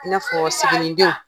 I na fɔ siginidenw.